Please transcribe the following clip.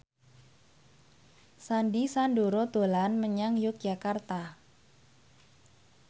Sandy Sandoro dolan menyang Yogyakarta